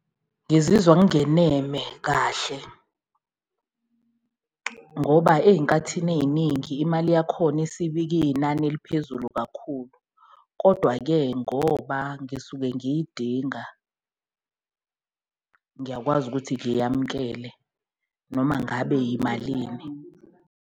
Ngizizwa ngingeneme kahle ngoba eyinkathini eyiningi imali yakhona iyinani eliphezulu kakhulu, kodwa-ke ngoba ngisuke ngiyidinga ngiyakwazi ukuthi ngiyamukele noma ngabe yimalini.